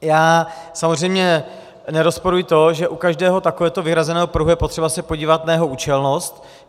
Já samozřejmě nerozporuji to, že u každého takovéhoto vyhrazeného pruhu je potřeba se podívat na jeho účelnost.